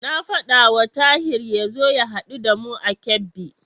Na faɗawa Tahir ya zo ya haɗu da mu a Kebbi.